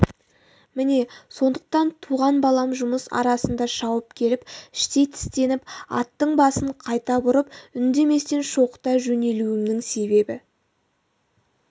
міне сондықтан туған балам жұмыс арасында шауып келіп іштей тістеніп аттың басын қайта бұрып үндеместен шоқыта жөнелуімнің себебі